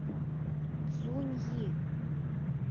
цзуньи